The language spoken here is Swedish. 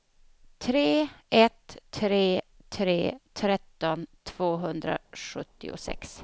tre ett tre tre tretton tvåhundrasjuttiosex